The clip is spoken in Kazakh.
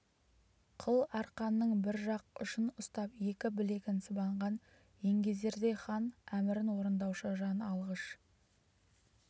қыл арқанның бір жақ ұшын ұстап екі білегін сыбанған еңгезердей хан әмірін орындаушы жан алғыш